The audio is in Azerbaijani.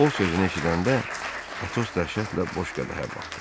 O sözünü eşidəndə Atos dəhşətlə boş qədəhə baxdı.